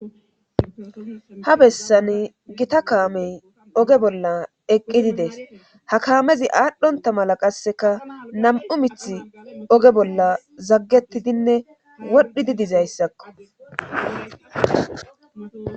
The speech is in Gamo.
ha bessan gita kaamey oge bolla eqqidi des ha kaamezi aadhdhonta mala qasseka nam'u mith oge bolla zaggetidinne wodhidi dizayssakko